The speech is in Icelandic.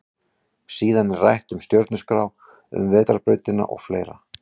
Síðan er rætt um stjörnuskrá, um vetrarbrautina og fleira.